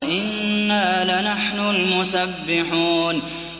وَإِنَّا لَنَحْنُ الْمُسَبِّحُونَ